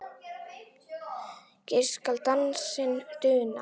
svo skal dansinn duna